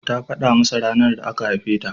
Ta faɗa masa ranar da aka haife ta.